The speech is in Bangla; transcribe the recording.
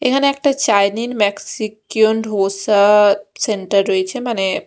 এখানে একটা চাইনিন ম্যাক্সিকিওন ঢোসা সেন্টার রয়েছে মানে --